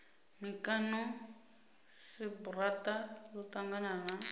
mikano cbrta ḽo ṱangana na